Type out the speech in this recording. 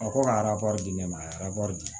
A ko ka ara di ne ma a ye di